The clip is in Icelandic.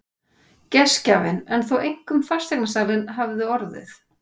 Gestgjafinn en þó einkum fasteignasalinn hafði orðið.